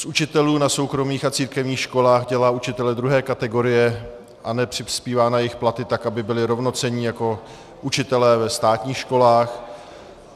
Z učitelů na soukromých a církevních školách dělá učitele druhé kategorie a nepřispívá na jejich platy tak, aby byli rovnocenní jako učitelé ve státních školách.